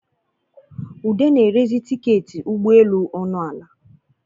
Ude na-erezi tiketị ụgbọ eluọnụ ala